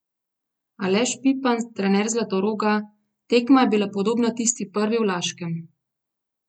Aleš Pipan, trener Zlatoroga: "Tekma je bila podobna tisti prvi v Laškem.